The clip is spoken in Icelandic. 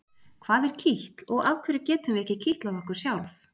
Hvað er kitl og af hverju getum við ekki kitlað okkur sjálf?